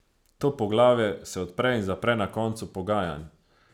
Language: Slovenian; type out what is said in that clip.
To poglavje se odpre in zapre na koncu pogajanj.